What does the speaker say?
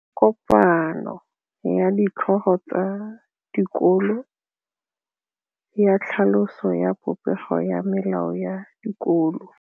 Go na le kopanô ya ditlhogo tsa dikolo ya tlhaloso ya popêgô ya melao ya dikolo.